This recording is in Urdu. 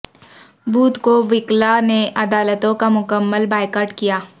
بدھ کو وکلاء نے عدالتوں کا مکمل بائیکاٹ کیا